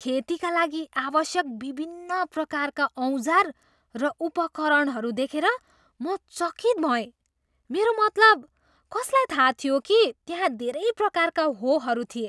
खेतीका लागि आवश्यक विभिन्न प्रकारका औजार र उपकरणहरू देखेर म चकित भएँ। मेरो मतलब, कसलाई थाहा थियो कि त्यहाँ धेरै प्रकारका होहरू थिए?